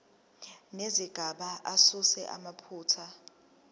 nezigaba asuse amaphutha